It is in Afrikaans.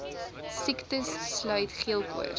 siektes sluit geelkoors